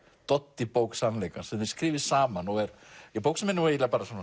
Doddi bók sannleikans sem þið skrifið saman og er bók sem er nú